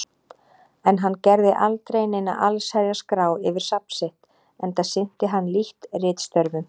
En hann gerði aldrei neina allsherjar-skrá yfir safn sitt, enda sinnti hann lítt ritstörfum.